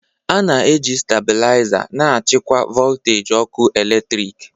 A na-eji stabiliza na-achịkwa voltaji ọkụ eletrik